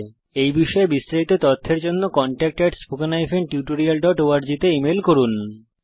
এই বিষয়ে বিস্তারিত তথ্যের জন্য contactspoken tutorialorg তে ইমেল করুন